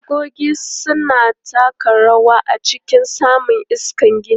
E, tagogi suna taka rawa a cikin samun iskar gini.